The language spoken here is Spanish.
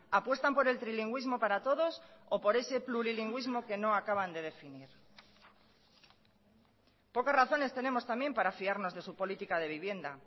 apuestan por el trilingüismo para todos o por ese plurilingüismo que no acaban de definir pocas razones tenemos también para fiarnos de su política de vivienda